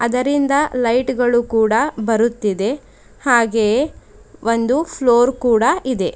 ಇದರಿಂದ ಲೈಟ್ ಗಳು ಕೂಡ ಬರುತ್ತಿದೆ ಹಾಗೆ ಒಂದು ಫ್ಲೋರ್ ಕೂಡ ಇದೆ.